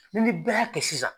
N'i ni bɛɛ y'a kɛ sisan.